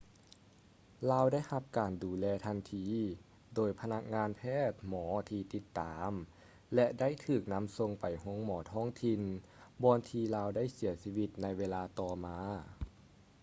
ລາວໄດ້ຮັບການດູແລທັນທີ ໂດຍພະນັກງານແພດໝໍທີ່ຕິດຕາມ ແລະ ໄດ້ຖືກນຳສົ່ງໄປໂຮງໝໍທ້ອງຖິ່ນ ບ່ອນທີ່ລາວໄດ້ເສຍຊີວິດໃນເວລາຕໍ່ມາ